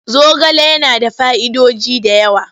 Zogale yana da fa'idoji da yawa.